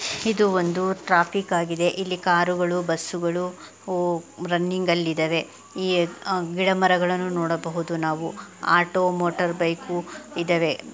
ಇದು ಒಂದು ಟ್ರಾಫಿಕ್ ಆಗಿದೆ. ಇಲ್ಲಿ ಕಾರುಗಳು ಬುಸ್ಸುಗಳು ಓ ರನ್ನಿಂಗ್ ಅಲ್ಲಿ ಇದವೆ. ಇ ಅ ಗಿಡ ಮರಗಳನ್ನೂ ನೋಡಬಹುದು ನಾವು ಆಟೋ ಮೋಟಾರ್ ಬೈಕು ಇದಾವೆ.